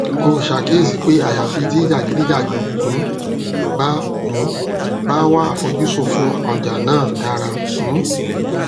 ó ṣàkíyèsí pé àyàfi tí jàgídíjàgan um bá um bá wà àfojúsùn fún ọjà náà dára um